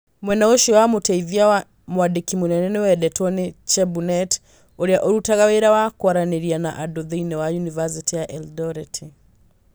Mwena ũcio wa Mũteithia wa Mwandĩki Mũnene nĩ wendetwo nĩ Chebunet, ũrĩa ũrutaga wĩra wa kwaranĩria na andũ thĩinĩ wa Yunivasĩtĩ ya Erindoreti.